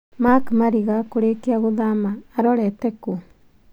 Mark Mariga kũrĩkia gũthama, arorete kú?